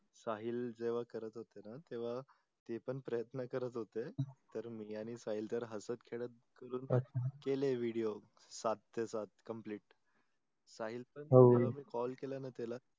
साहिल जेव्हा करत होते णा तेव्हा ते पण प्रयत्न करत होते तर मी आणि साहिल जरा हसत खेडत केले अच्छा video सात ते सात complete साहिलच हो हो मी call केला णा त्याला